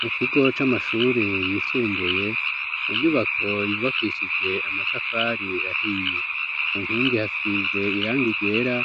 mu kigo c'amashuri yisumbuye mu nyubako yubakishije amatafari ahiye ku nkingi hasize irangi ryera